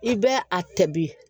I bɛ a tɛbi